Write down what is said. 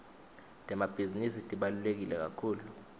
temabhizinisi tibaluleke kakhulu